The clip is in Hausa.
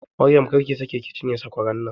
Maryam, kar ki sake ki cinye sakwaran nan!